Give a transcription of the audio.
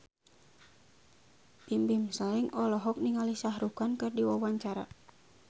Bimbim Slank olohok ningali Shah Rukh Khan keur diwawancara